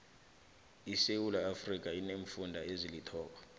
isewuula iafrika ineemfunda ezilithoba